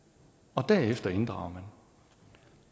og derefter inddrager man